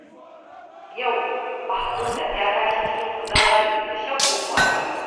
Yau Mahmuda ya tashi cikin kuzari da shauƙin zuwa aiki